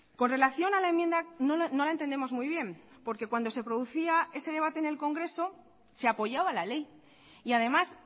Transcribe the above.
con relación a la enmienda no la entendemos muy bien porque cuando se producía ese debate en el congreso se apoyaba la ley y además